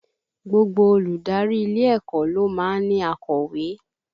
Gbogbo olùdarí ilé ẹ̀kọ́ ló máa ń ní akọ̀wé